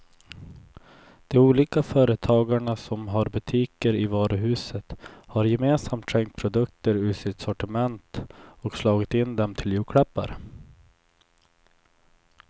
De olika företagarna som har butiker i varuhuset har gemensamt skänkt produkter ur sitt sortiment och slagit in dem till julklappar.